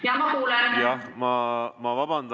Jaa, ma kuulen!